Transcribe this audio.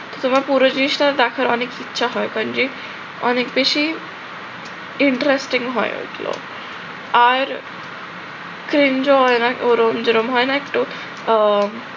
তোমার পুরো জিনিসটা দেখার অনেক ইচ্ছা হয় অনেক বেশি interesting হয় ওগুলো। আর ওরম যেরম হয় না একটু, আহ